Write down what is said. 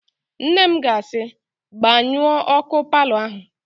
Nne m ga-asị, "gbanyụọ ọ́kụ́ palọ áhụ̀"!